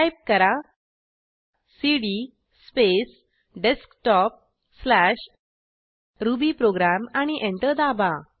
type करा CD space desktopरुबीप्रोग्राम आणि एंटर दाबा